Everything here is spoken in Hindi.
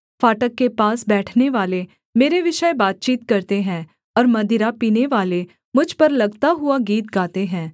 फाटक के पास बैठनेवाले मेरे विषय बातचीत करते हैं और मदिरा पीनेवाले मुझ पर लगता हुआ गीत गाते हैं